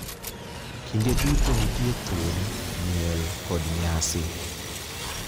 Kinde duto nitie thum, miel, kod nyasi.